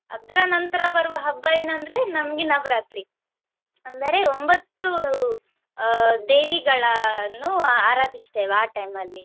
ಅದ್ರ ನಂತರ ಬರುವ ಹಬ್ಬ ಏನಂದ್ರೆ ನಮ್ಗೆ ನವರಾತ್ರಿ ಅಂದರೆ ಒಂಬತ್ತು ಅಹ್ ದೇವಿಗಳನ್ನುಆರಾಧಿಸುತ್ತೇವೆ ಆ time ಅಲ್ಲಿ.